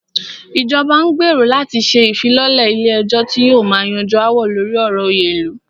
Ìjọba n gbérò láti ṣe ìfilọ́lẹ̀ ilé ẹ̀jọ́ tí yóò máà yanjú aáwọ̀ lórí ọ̀rọ̀ òyè ilu.